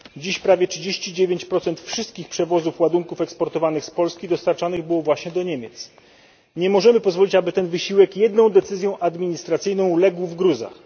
Dziś prawie 39 wszystkich przewozów ładunków eksportowanych z Polski dostarczanych było właśnie do Niemiec. Nie możemy pozwolić, aby ten wysiłek jedną decyzją administracyjną legł w gruzach.